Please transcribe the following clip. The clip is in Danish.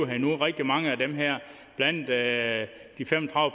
her endnu rigtig mange af dem her blandt andet de fem og